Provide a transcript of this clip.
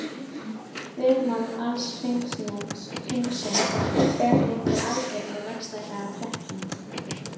Þvermál alls hringsins fer því eftir aldri og vaxtarhraða sveppsins.